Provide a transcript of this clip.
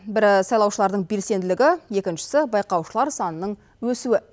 бірі сайлаушылардың белсенділігі екіншісі байқаушылар санының өсуі